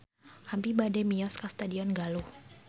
Abi bade mios ka Stadion Galuh